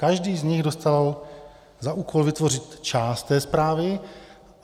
Každý z nich dostal za úkol vytvořit část té zprávy.